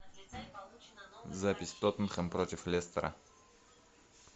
запись тоттенхэм против лестера